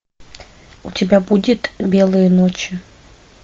у тебя будет белые ночи